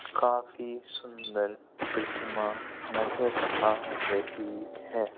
काफी सुंदर प्रतिमा नजर आ रही है।